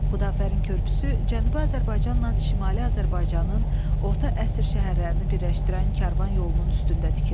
Xudafərin körpüsü Cənubi Azərbaycanla Şimali Azərbaycanın orta əsr şəhərlərini birləşdirən karvan yolunun üstündə tikilib.